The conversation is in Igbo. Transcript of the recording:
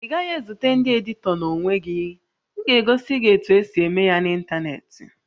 Ị gaghị ezute ndị editọ n'onwe gị, m ga-egosi gị otu esi eme ya n'ịntanetị